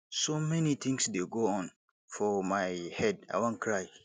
so many things dey go on for my head i wan cry